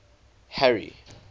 harry